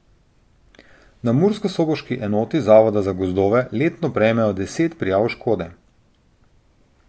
Na murskosoboški enoti zavoda za gozdove letno prejmejo deset prijav škode.